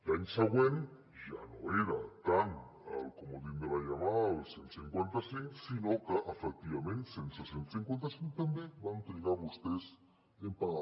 l’any següent ja no era tant el comodín de la llamada el cent i cinquanta cinc sinó que efectivament sense cent i cinquanta cinc també van trigar vostès en pagar